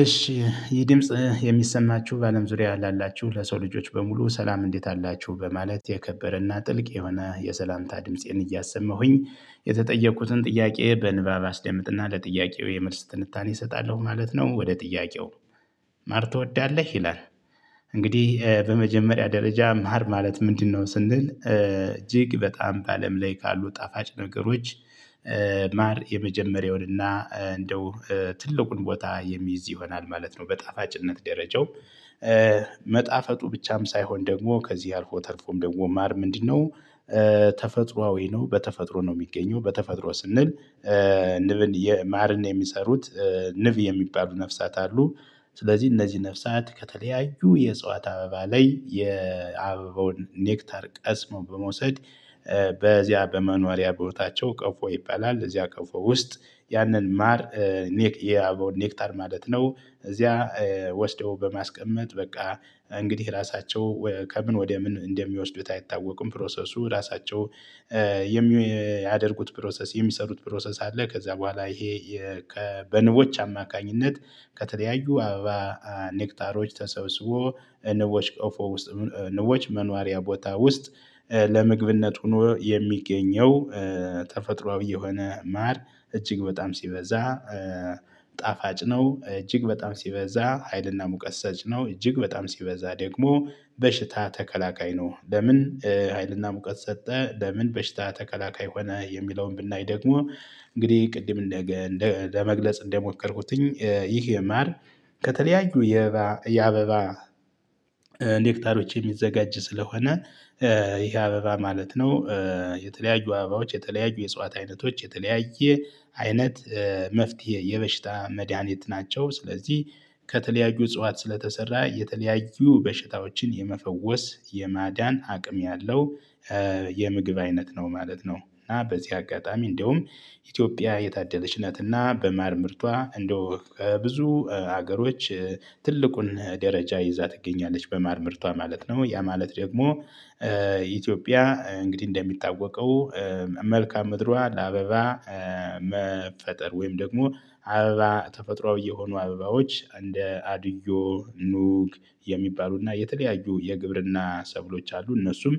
እሺ ይህ ድምጽ የሚሰማችሁ በአለም ዙሪያ ላላችሁ ለሰው ልጆች በሙሉ ሰላም እንዴት አላችሁ በማለት የከበረና ጥልቅ የሆነ የሰላምታ ድምፄን እያሰማሁኝ የተጠየቁትን ጥያቄ በንባብ አስደምጥና ለጥያቄው የምርስ ትንታኔ እሰጣለሁ ማለት ነው። ወደ ጥያቄው ማር ትወዳለህ ይላል? እንግዲህ በመጀመሪያ ደረጃ ማር ማለት ምንድነው? ስንል እጅግ በጣም ባአለም ላይ ካሉ ጣፋጭ ነገሮች። ማር የመጀመሪያውንና እንደው ትልቁን ቦታ የሚይዝ ይሆናል ማለት ነው። በጣፋጭነት ደረጃው መጣፈጡ ብቻም ሳይሆን ደግሞ ከዚህ አልፎ ተልፎም ደግሞ ማር ምንድነው? ተፈጥሮአዊ ነው በተፈጥሮ ነው የሚገኘው በተፈጥሮ ስንል ንብን ማርን የሚሰሩት ንብ የሚባሉ ነፍሳት አሉ። ስለዚህ እነዚህ ነፍሳት ከተለያዩ የእጽዋት አበባ ላይ የአበባውን ኔክታር ቀስሞ በመውሰድ በዚያ በመኖሪያ ቦታቸው ቀፎ ይባላል። እዚያ ቀፎ ውስጥ ያንን ማር ኔክ የአበባውን ኔክታር ማለት ነው። እዚያ ወስደው በማስቀመጥ በቃ እንግዲህ ራሳቸው ከምን ወደ ምን እንደሚወስዱት አይታወቁም። ፕሮሰሱ ራሳቸው የሚያደርጉት ፕሮሰስ የሚሰሩት ፕሮሰስ አለ። ከዛ በኋላ ይሄ በንቦች አማካኝነት ከተለያዩ አበባ ኔክታሮች ተሰብስቦ ንቦች ቆፎ ውስጥ ንቦች መኗሪያ ቦታ ውስጥ ለምግብነት ሆኖ የሚገኘው ተፈጥሮአዊ የሆነ ማር እጅግ በጣም ሲበዛ ጣፋጭ ነው። እጅግ በጣም ሲበዛ ሀይልና ሙቀት ሰጭ ነው። እጅግ በጣም ሲበዛ ደግሞ በሽታ ተከላካይ ነው። ለምን ሀይልና ሙቀት ሰጠ ለምን በሽታ ተከላካይ ሆነ የሚለውን ብናይ ደግሞ እንግዲህ ቅድም ለመግለጽ እንደሞከርኩትኝ ይህ የማር ከተለያዩ የአበባ የሚዘጋጅ ስለሆነ ይሄ አበባ ማለት ነው የተለያዩ አበባዎች የተለያዩ የጽዋት አይነቶች የተለያየ አይነት መፍትሄ የበሽታ መድሃኒት ናቸው። ስለዚህ ከተለያዩ እጽዋት ስለተሰራ የተለያዩ በሽታዎችን የመፈወስ የማዳን አቅም ያለው የምግብ አይነት ነው ማለት ነው። እና በዚህ አጋጣሚ እንደውም በዚያ በመኖሪያ ቦታቸው ቀፎ ይባላል። እዚያ ቀፎ ውስጥ ያንን ማር ኔክ የአበባውን ኢትዮጵያ እንግዲህ እንደሚታወቀው መልእካምድርዋ ለአበባ መፈጠር ወይም ደግሞ አበባ ተፈጥሮአዊ የሆኑ አበባዎች እንደ አድዮ ኑግ የሚባሉና የተለያዩ የግብርና ሰብሎች አሉ። እነሱም